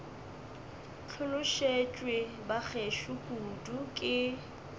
hlolosetšwe ba gešo kudu ke